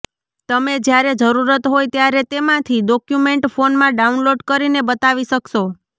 તમે જયારે જરૂરત હોય ત્યારે તેમાંથી ડોક્યુમેન્ટ ફોનમાં ડાઉનલોડ કરીને બતાવી શકશો